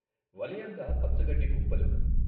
వలయంగా పచ్చగడ్డి కుప్పలు.